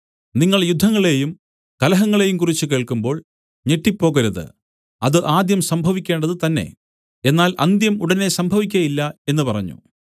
നിങ്ങൾ യുദ്ധങ്ങളെയും കലഹങ്ങളെയും കുറിച്ച് കേൾക്കുമ്പോൾ ഞെട്ടിപ്പോകരുത് അത് ആദ്യം സംഭവിക്കേണ്ടത് തന്നേ എന്നാൽ അന്ത്യം ഉടനെ സംഭവിക്കുകയില്ല എന്നു പറഞ്ഞു